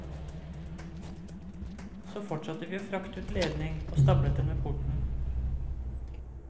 Så fortsatte vi å frakte ut ledning og stablet den ved porten.